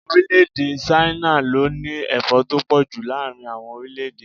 Orílè-èdè Ṣáínà ló ní Ẹ̀fọ́ tó pọ̀ ju láàárín àwọn orílẹ̀-èdè.